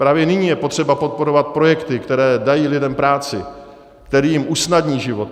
Právě nyní je potřeba podporovat projekty, které dají lidem práci, které jim usnadní život.